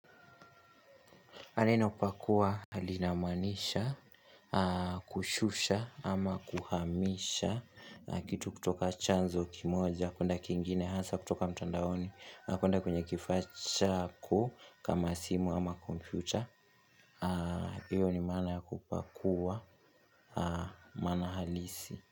Maneno pakua linamaanisha kushusha ama kuhamisha na kitu kutoka chanzo kimoja kwenda kingine hasa kutoka mtandaoni na kwenda kwenye kifaa cha ku kama simu ama kompyuta hiyo ni maana ya kupakua, maana halisi.